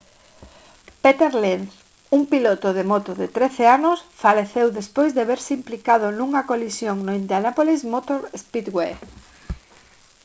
peter lenz un piloto de moto de 13 anos faleceu despois de verse implicado nunha colisión no indianapolis motor speedway